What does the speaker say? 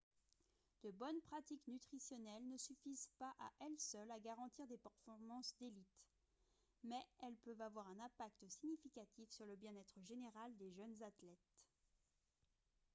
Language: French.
de bonnes pratiques nutritionnelles ne suffisent pas à elles seules à garantir des performances d'élite mais elles peuvent avoir un impact significatif sur le bien-être général des jeunes athlètes